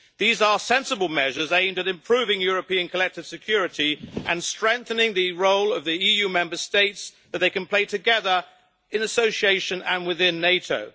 These are sensible measures aimed at improving European collective security, and strengthening the role of the EU Member States that they can play together in association and within NATO.